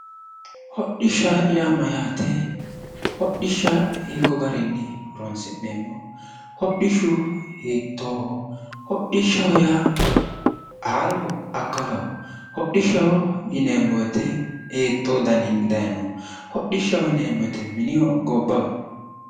hodhishsha yaa mayyaate? hodhishsha hiikko garinni horoonsi'neemmo? hodhishshu hiittooho hodhishshu haarohonso akkalaho? hodhishshaho yineemmowoyite hiittoo garinni dayinoho? hodhishshaho yineemmowoyite minihonso gobbaho?